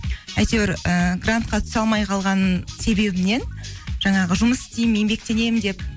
әйтеуір ііі грантқа түсе алмай қалған себебімнен жаңағы жұмыс істеймін еңбектенемін деп